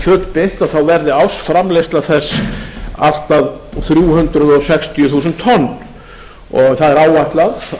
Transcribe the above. fullbyggt verði ársframleiðsla þess allt að þrjú hundruð sextíu þúsund tonn áætlað er að